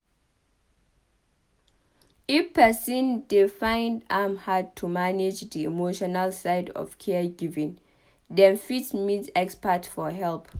If person dey find am hard to manage di emotional side of caregiving dem fit meet expert for help